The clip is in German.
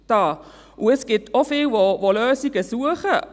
Und es gibt auch viele, die Lösungen suchen;